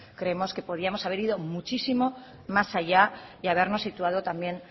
creemos que podíamos haber ido muchísimo más allá y habernos situado también